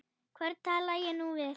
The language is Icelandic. Hvern tala ég nú við?